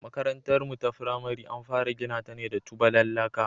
Makarantarmu ta firamare an fara gina ta ne da tubalan laka.